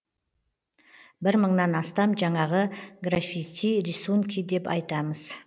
бір мыңнан астам жаңағы графити рисунки деп айтамыз